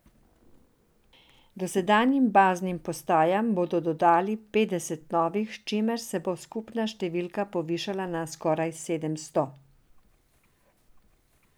Dosedanjim baznim postajam bodo dodali petdeset novih, s čimer se bo skupna številka povišala na skoraj sedemsto.